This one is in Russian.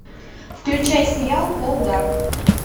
включай сериал пол дарк